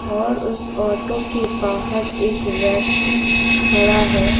और उस ऑटो के बाहर एक व्यक्ति खड़ा है।